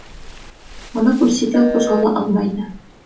мұны көрсе де қозғала алмайды